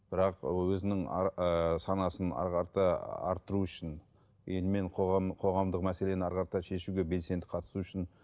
бірақ өзінің ыыы санасын әрі қарата арттыру үшін ел мен қоғам қоғамдық мәселені ары қарата шешуге белсенді қатысуы үшін